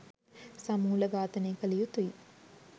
සමූල ඝාතනය කළ යුතුයි